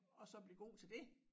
Og så blive god til det